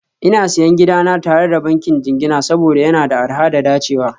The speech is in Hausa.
Ina Siyan gidana tare da bankin jingina saboda yana da arha da dacewa